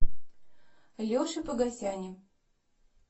леше погосяне